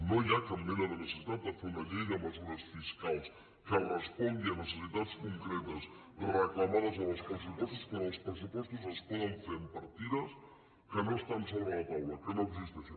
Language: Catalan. no hi ha cap mena de necessitat de fer una llei de mesures fiscals que respongui a necessitats concretes reclamades en els pressupostos quan els pressupostos es poden fer amb partides que no estan sobre la taula que no existeixen